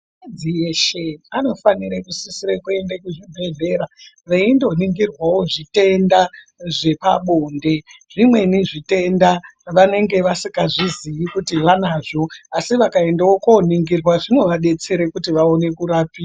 Akadzi eshe anofanire kusisire kuende kuzvibhedhlera veindoningirwawo zvitenda zvepabonde zvimweni zvitenda vanenge vasikazvizii kuti vanazvo asi vakendawo koningirwa zvinovadetsere kuti vaone kurapika.